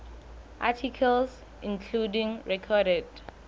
articles including recorded